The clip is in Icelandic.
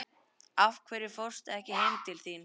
Af hverju fórstu ekki heim til þín?